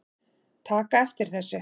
taka eftir þessu